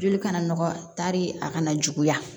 Joli kana nɔgɔya taari a kana juguya